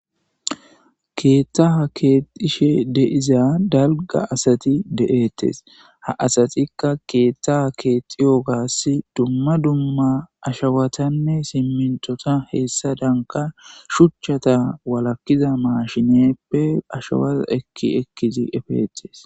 Keetta ha keexishe deiza dalga asati de'ettes ha asatikka keethta ha keexiyo gaas dumma dumma ashawatanne simmintota heessa danka shuchchata walakiza maashineppe ashawas ekki ekkizi efeetes.